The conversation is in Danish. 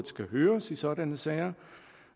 skal høres i sådanne sager